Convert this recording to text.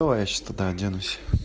давай тогда я сейчас оденусь